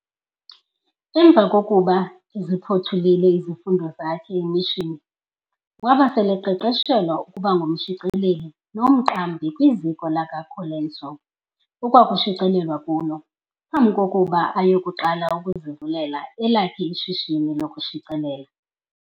Emva kokuba eziphothulile izifundo zakhe emishini, waba sele eqeqeshelwa ukuba ngumshicileli nomqambi kwiziko likaColenso ekwakushicilelwa kulo, phambi kokuba ayekuqala ukuzivulela elakhe ishishini lokushicelela.